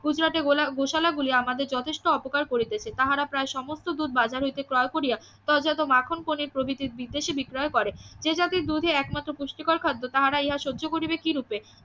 গুজরাতে ~ গোশালা গুলি আমাদের যথেষ্ট অপকার করিতেছে তাহারা প্রায় সমস্ত দুধ বাজার হইতে ক্রয় করিয়া ক্রয়জাত মাখন পনির প্রভৃতি বিদেশে বিক্রয় করে যে জাতির দুধে একমাত্র পুষ্টিকর খাদ্য তাহারা ইহা সহ্য করিবে কিরূপে?